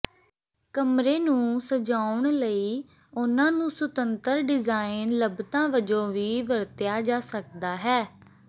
ਕਮਰੇ ਨੂੰ ਸਜਾਉਣ ਲਈ ਉਹਨਾਂ ਨੂੰ ਸੁਤੰਤਰ ਡਿਜ਼ਾਇਨ ਲੱਭਤਾਂ ਵਜੋਂ ਵੀ ਵਰਤਿਆ ਜਾ ਸਕਦਾ ਹੈ